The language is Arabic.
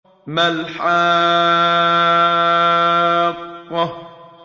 مَا الْحَاقَّةُ